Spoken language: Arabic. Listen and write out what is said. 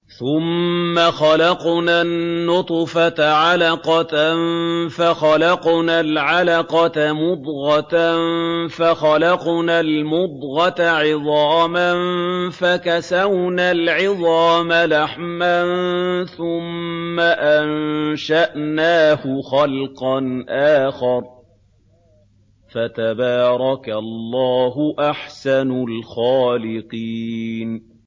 ثُمَّ خَلَقْنَا النُّطْفَةَ عَلَقَةً فَخَلَقْنَا الْعَلَقَةَ مُضْغَةً فَخَلَقْنَا الْمُضْغَةَ عِظَامًا فَكَسَوْنَا الْعِظَامَ لَحْمًا ثُمَّ أَنشَأْنَاهُ خَلْقًا آخَرَ ۚ فَتَبَارَكَ اللَّهُ أَحْسَنُ الْخَالِقِينَ